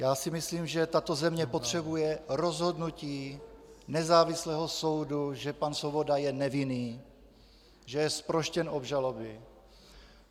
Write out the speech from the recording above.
Já si myslím, že tato země potřebuje rozhodnutí nezávislého soudu, že pan Svoboda je nevinný, že je zproštěn obžaloby.